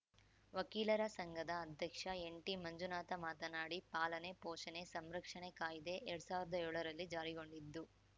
ವಕೀಲರ ಸಂಘದ ಅಧ್ಯಕ್ಷ ಎನ್‌ಟಿ ಮಂಜುನಾಥ ಮಾತನಾಡಿ ಪಾಲನೆ ಪೋಷಣೆ ಸಂರಕ್ಷಣೆ ಕಾಯ್ದೆ ಎರಡ್ ಸಾವಿರ್ದಾ ಏಳರಲ್ಲಿ ಜಾರಿಗೊಂಡಿದ್ದು